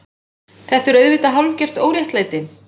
Þetta er auðvitað hálfgert óréttlæti.